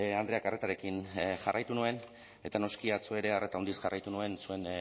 andreak arretarekin jarraitu nuen eta noski atzo ere arreta handiz jarraitu nuen zuen